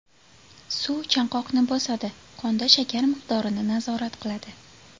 Suv chanqoqni bosadi, qonda shakar miqdorini nazorat qiladi.